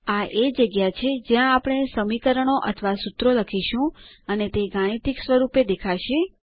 આ એ જગ્યા છે જ્યાં આપણે સમીકરણો અથવા સૂત્રો લખીશું અને તે ગાણિતીક સ્વરૂપે દેખાશે